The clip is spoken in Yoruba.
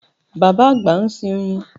Bàbá àgbà ń sin oyin